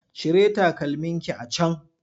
Cire takalmin ki a can!